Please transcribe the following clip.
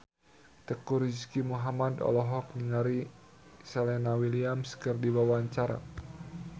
Teuku Rizky Muhammad olohok ningali Serena Williams keur diwawancara